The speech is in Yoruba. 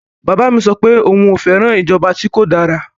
Bàbá mi sọ pé òun fẹ́ràn ìjọba tí kò dára.